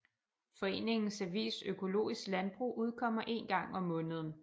Foreningens avis Økologisk Landbrug udkommer én gang om måneden